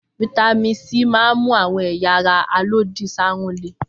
Fataímìn C máa ń mú àwọn ẹ̀yà ara alòdì sáárùn le.